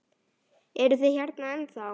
Eruð þið hérna ennþá?